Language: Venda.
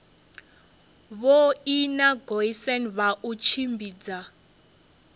vhoina goosen kha u tshimbidza